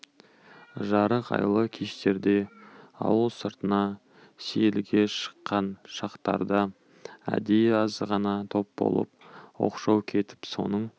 жарық айлы кештерде ауыл сыртына сейілге шыққан шақтарда әдейі аз ғана топ болып оқшау кетіп соның